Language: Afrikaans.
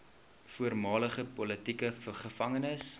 voormalige politieke gevangenes